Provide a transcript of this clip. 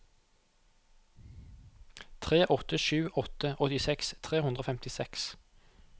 tre åtte sju åtte åttiseks tre hundre og femtiseks